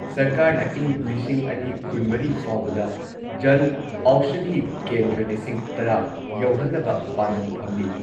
ꯁꯔꯀꯥꯔꯅ ꯏꯪ ꯂꯤꯁꯤꯡ ꯑꯅꯤ ꯀꯨꯟꯃꯔꯤ ꯐꯥꯎꯕꯗ ꯖꯟ ꯑꯧꯁꯥꯙꯤ ꯀꯦꯟꯗ꯭ꯔ ꯂꯤꯁꯤꯡ ꯇꯔꯥ ꯌꯧꯍꯟꯅꯕ ꯄꯥꯟꯗꯝ ꯊꯝꯂꯤ ꯫